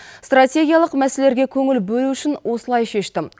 стратегиялық мәселелерге көңіл бөлу үшін осылай шештім